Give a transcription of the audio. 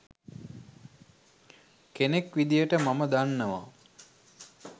කෙනෙක් විදිහට මම දන්නවා